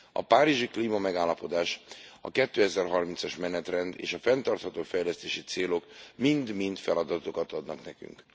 A párizsi klímamegállapodás, a 2030 as menetrend és a fenntartható fejlesztési célok mind mind feladatokat adnak nekünk.